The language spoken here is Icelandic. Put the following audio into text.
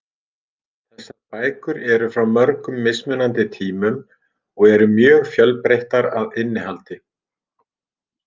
Þessar bækur eru frá mörgum mismunandi tímum og eru mjög fjölbreyttar að innihaldi.